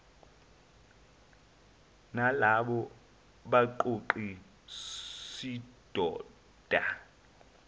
nalaba baqoqi sidoda